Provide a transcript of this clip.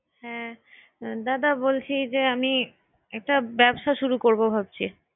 দাদা বলিছি যে আমি একটা ব্যবসা শুরু করবো ভাবছি